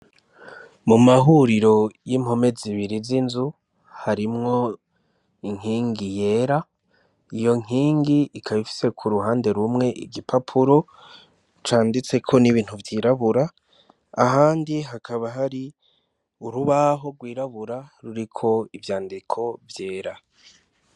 Mu mahuriro y'impome zibiri z'inzu harimwo inkingi yera. Iyo nkingi ikaba ifise ku ruhande rumwe igipapuro canditseko n'ibintu vyirabura, ahandi hakaba hari urubaho rwirabura ruriko ivyandiko vyera.